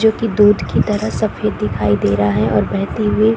जो की दूध की तरह सफेद दिखाई दे रहा है और बहती हुई--